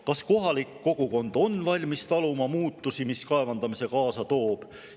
Kas kohalik kogukond on valmis taluma muutusi, mis kaevandamine kaasa toob?